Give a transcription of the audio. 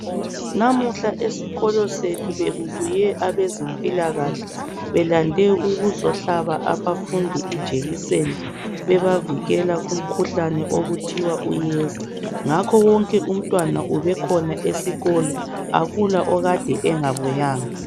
Namuhla esikolo sethu beku buye abezimpila kahle belande ukuzohlaba abafundi injekiseni bebavikela umkhuhlane okuthiwa uyeza ngakho wonke umuntwana esikolo akula okade engabuyanga